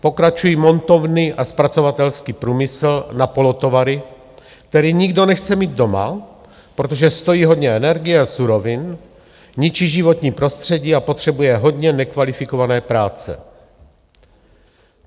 Pokračují montovny a zpracovatelský průmysl na polotovary, který nikdo nechce mít doma, protože stojí hodně energie a surovin, ničí životní prostředí a potřebuje hodně nekvalifikované práce.